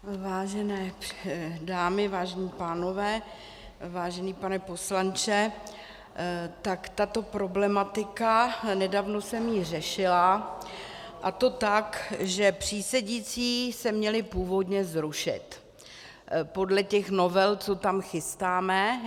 Vážené dámy, vážení pánové, vážený pane poslanče, tak tato problematika, nedávno jsem ji řešila, a to tak, že přísedící se měli původně zrušit podle těch novel, co tam chystáme.